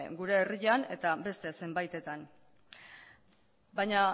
gure herrian eta beste zenbaitetan baina